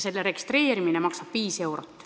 See registreerimine maksab viis eurot.